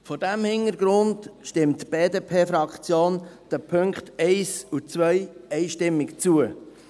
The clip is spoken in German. Vor diesem Hintergrund stimmt die BDP-Fraktion den Punkten 1 und 2 einstimmig zu.